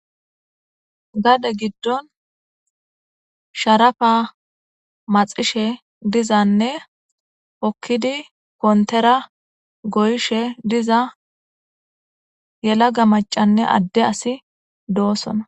gade giddon sharafa maxishe dizanne pokkidi kontera goyshe diza yelaga macanne adde asi doosona